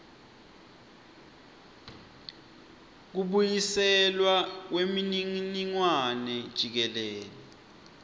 kubuyiselwa kwemininingwane jikelele